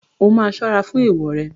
O máa ṣọ́rá fún èèwò rẹ.